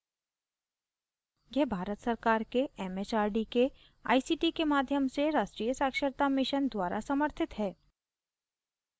यह भारत सरकार के एमएचआरडी के आईसीटी के माध्यम से राष्ट्रीय साक्षरता mission द्वारा समर्थित है